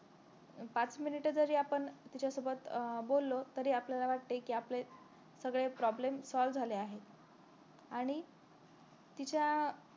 पाच minute जरी आपण तिच्यासोबत अं बोलो तरी आपल्याला वाटते कि आपले सगळे problem soul झाले आहेत आणि तिच्या